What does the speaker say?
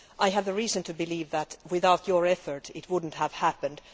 I have reason to believe that, without your efforts, it would not have happened.